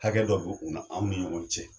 Hakɛ dɔ b'u n'an ni ɲɔgɔn cɛ